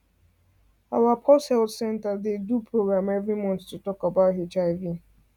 our pause health center dey do program every month to talk about hiv